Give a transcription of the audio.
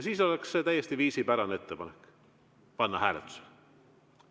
Siis oleks see täiesti viisipärane ettepanek, mida panna hääletusele.